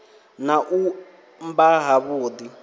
na u mba ha vhudi